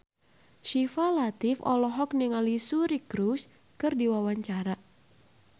Syifa Latief olohok ningali Suri Cruise keur diwawancara